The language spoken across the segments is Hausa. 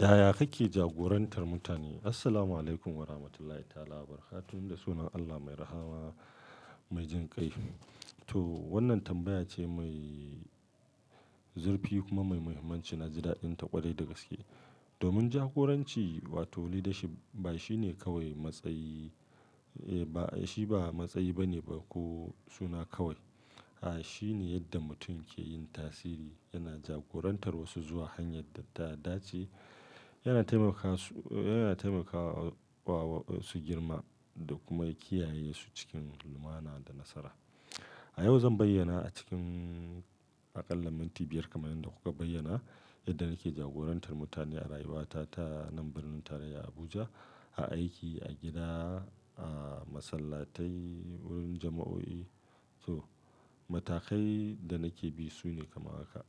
Yaya kake jagorantar mutane? Assalamualaikum Warahmatullahi Ta'ala Wabarakatuh. Da sunan Allah mai rahama, mai jin kai. To wannan tambaya ce mai zurfi kuma mai muhimmanci. Na ji daɗin ta ƙwarai da gaske. Domin jagoranci, wato leadership ba shine kawai matsayi, eh ba shi ba matsayi bane ba ko suna kawai. A'a, shine yadda mutum ke yin tasiri, yana jagorantar wasu zuwa hanyar da ta dace, yana taimakawa su, yana taimakawa wa wasu girma da kuma kiyaye su cikin lumana da nasara. A yau zan bayyana a cikin aƙalla minti biyar kamar yadda kuka bayyana yadda nake jagorantar mutane a rayuwata ta nan birnin tarayya Abuja, a aiki, a gida, a masallatai, wurin jama'o'i. To matakai da nake bi su ne kamar haka.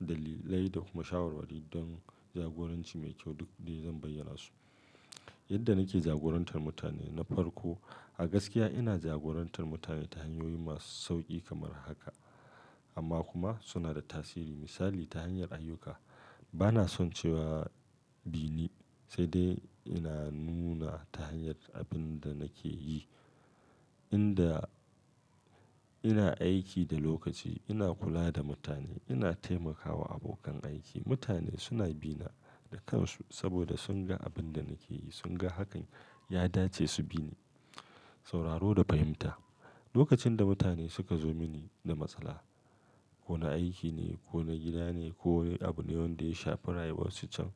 Dalilai da kuma shawarwari don jagoranci mai kyau duk dai zan bayyana su. Yadda nake jagorantar mutane na farko. A gaskiya ina jagorantar mutane ta hanyoyi masu sauƙi kamar haka amma kuma suna da tasiri. Misali ta hanyar ayyuka. Bana son cewa bini sai dai ina nuna ta hanyar abin da nake yi. Inda ina aiki da lokaci, ina kula da mutane, ina taimakawa abokan aiki. Mutane suna bina da kansu saboda sun ga abin da nake yi, sun ga hakan ya dace su bi ni. Sauraro da fahimta. Lokacin da mutane suka zo mini da matsala ko na aiki ne, ko na gida ne, ko abu ne wanda ya shafar rayuwar su can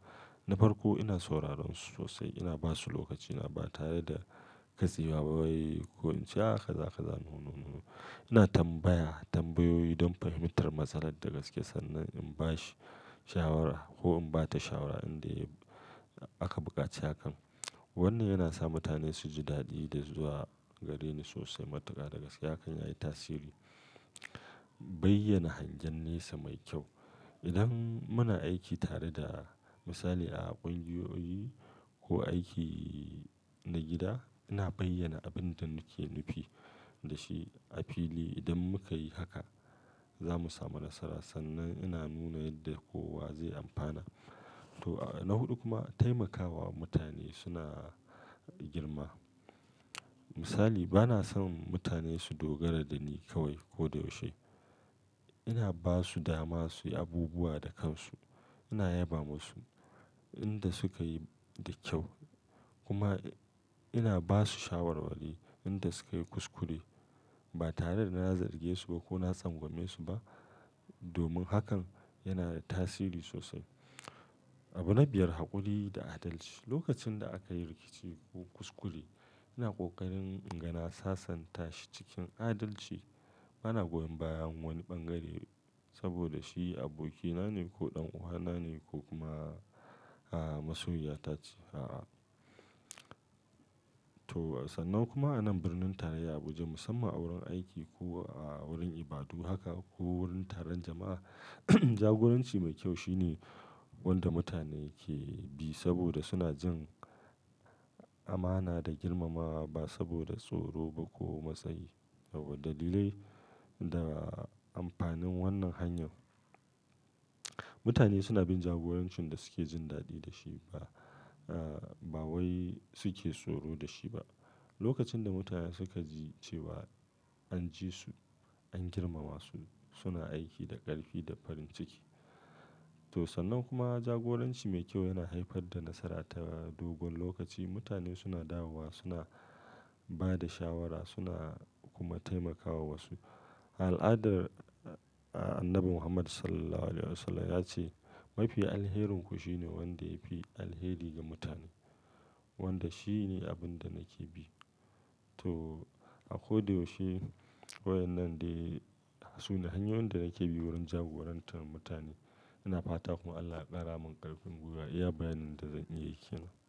na farko ina sauraron su sosai. Ina ba su lokaci na ba tare da katseya, wai ko in ce a kaza kaza, no no. Ina tambaya tambayoyi don fahimtar matsalar da gaske sannan in ba shi shawara ko in ba ta shawara inda aka buƙaci hakan. Wannan yana sa mutane su ji daɗi da zuwa gare ni sosai. Matuka da gaske hakan yayi tasiri. Bayyana hangen nesa mai kyau. Idan muna aiki tare da misali a ƙungiyoyi ko aiki na gida, ina bayyana abin da muke nufi da shi a fili. Idan muka yi haka za mu samu nasara sannan ina nuna yadda kowa zai amfana. To a na huɗu kuma taimakawa mutane suna girma. Misali bana son mutane su dogara da ni kawai ko da yaushe. Ina ba su dama su yi abubuwa da kansu. Ina yaba musu inda suka yi da kyau kuma ina ba su shawarwari inda suka yi kuskure ba tare da na zarge su ba ko na tsangwame su ba domin hakan yana da tasiri sosai. Abu na biyar haƙuri da adalci. Lokacin da aka yi rikici ko kuskure ina ƙoƙarin ingana sasanta shi cikin adalci. Bana goyon bayan wani ɓangare saboda shi abokina ne ko ɗan uwana ne ko kuma masoyiya ta ce. A'a. To sannan kuma a nan birnin tarayya Abuja musamman wurin aiki ko wurin ibadu haka ko wurin taron jama'a, jagoranci mai kyau shine wanda mutane ke bi saboda suna jin amana da girmamawa ba saboda tsoro ba ko matsayi. Yauwa dalilai da amfanin wannan hanyar. Mutane suna bin jagorancin da suke jin daɗi da shi ba, a'a ba wai suke tsoro da shi ba. Lokacin da mutane suka ji cewa an ji su, an girmama su, suna aiki da ƙarfi da farin ciki. To sannan kuma jagoranci mai kyau yana haifar da nasara ta dogon lokaci. Mutane suna dawowa, suna ba da shawara, suna kuma taimakawa wasu. Al'adar Annabi Muhammad Sallallahu Alaihi Wasallam ya ce, "Mafi alherinku shine wanda ya fi alheri ga mutane." Wanda shi ne abin da nake bi. To a ko da yaushe wayan nan dai suna hanyoyin da nake bi wurin jagorantar mutane. Ina fata kuma Allah ya ƙara min ƙarfin gwiwa iya bayyanin da zan iya yake.